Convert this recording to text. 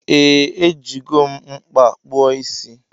Ee ejigom mkpa kpụọ isi.